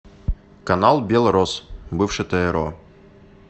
канал белрос бывший тро